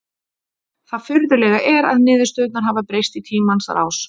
Það furðulega er að niðurstöðurnar hafa breyst í tímans rás.